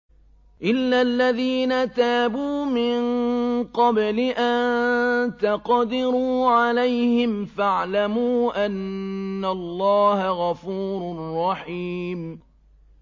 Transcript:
إِلَّا الَّذِينَ تَابُوا مِن قَبْلِ أَن تَقْدِرُوا عَلَيْهِمْ ۖ فَاعْلَمُوا أَنَّ اللَّهَ غَفُورٌ رَّحِيمٌ